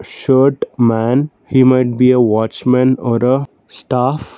shirt man he might be a watch man or a staff.